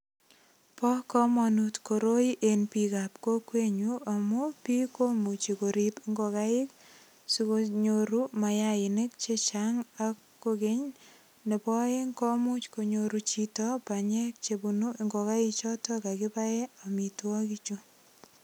Bo komonut koroi en bikap kokwenyun amu biik komuche korip ngokaik sikonyoru mayainik chechang ak kokeny nebo oeng komuch konyoru chito banyek chebunu ngokaik choto kakibaen amitwokik chu.